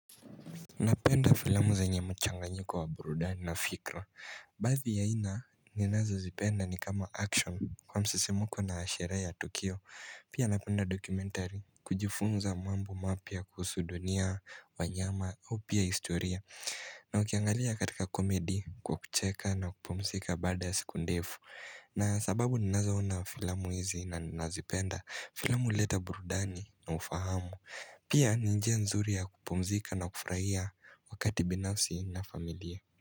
Napenda filamu zenye mchanganyiko wa burudani na fikra. Baadhi ya aina ninazozipenda ni kama action kwa msisimuko na sherehe ya tukio Pia napenda dokumentari kujifunza mambo mapya kuhusu dunia, wanyama au pia historia na ukiangalia katika comedy kwa kucheka na kupumzika baada ya siku ndefu na sababu ninazoona filamu hizi na nazipenda, filamu huleta burudani na ufahamu Pia ni njia nzuri ya kupumzika na kufurahia wakati binafsi na familia.